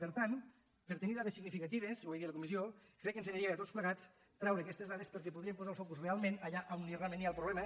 per tant per tenir dades significatives ho vaig dir a la comissió crec que ens aniria bé a tots plegats treure aquestes dades perquè podríem posar el focus realment allà a on realment hi ha el problema